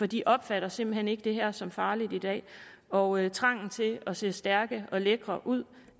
de opfatter simpelt hen ikke det her som farligt i dag og trangen til at se stærke og lækre ud